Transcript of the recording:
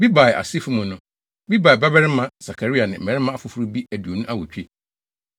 Bebai asefo mu no: Bebai babarima Sakaria ne mmarima afoforo bi aduonu awotwe.